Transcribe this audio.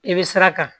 I bɛ sira kan